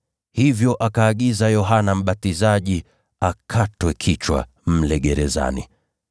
Hivyo akaagiza Yohana Mbatizaji akatwe kichwa mle gerezani.